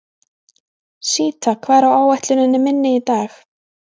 Síta, hvað er á áætluninni minni í dag?